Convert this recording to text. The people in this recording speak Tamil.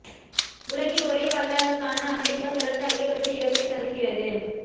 உலகின் ஒரே வல்லரசான அமெரிக்கா தொடர்ந்து அதிகபட்ச இழப்பை சந்திக்கிறது